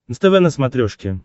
нств на смотрешке